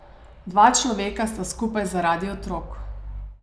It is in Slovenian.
Dva človeka sta skupaj zaradi otrok.